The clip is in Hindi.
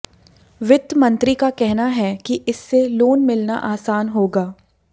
वित्त मंत्री का कहना है कि इससे लोन मिलना आसान होगा